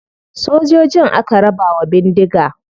Sojojin aka raba wa bindiga.